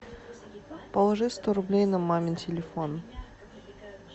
положи сто рублей на мамин телефон